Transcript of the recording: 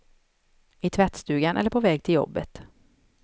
I tvättstugan eller på väg till jobbet.